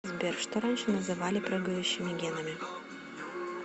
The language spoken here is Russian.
сбер что раньше называли прыгающими генами